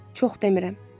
Çox demirəm.